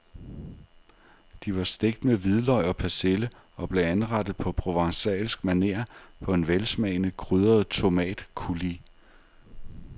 De var stegt med hvidløg og persille og blev anrettet på provencalsk maner på en velsmagende krydret tomatcoulis.